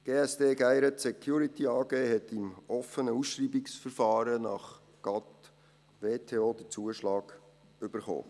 Die GSD Gayret Security AG hat im offenen Ausschreibungsverfahren nach GATT/WTO den Zuschlag erhalten.